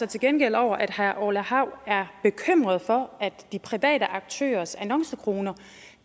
til gengæld over at herre orla hav er bekymret for at de private aktørers annoncekroner